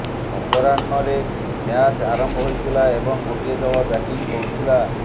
ଅପରାହ୍ନରେ ମ୍ୟାଚ୍ ଆରମ୍ଭ ହୋଇଥିଲା ଏବଂ ଗୋଟିଏ ଦଳ ବ୍ୟାଟିଂ କରୁଥିଲା